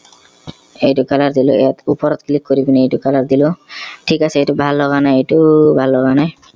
এইটো color দিলো ইয়াত ওপৰত click কৰি পিনে এইটো color দিলো থিক আছে এইটো ভাল লগা নাই এইটোও ভাল লগা নাই